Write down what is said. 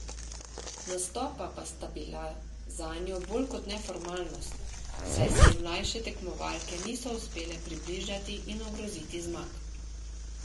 Nastopa sta bila zanjo bolj kot ne formalnost, saj se ji mlajše tekmovalke niso uspele približati in ogroziti zmag.